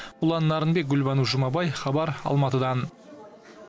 ұлан нарынбек гүлбану жұмабай хабар алматыдан